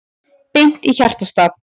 Beint í hjartastað